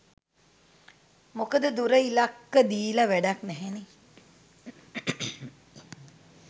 මොකද දුර ඉලක්ක දීල වැඩක් නැහැනේ